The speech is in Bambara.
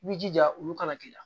I b'i jija olu kana k'i la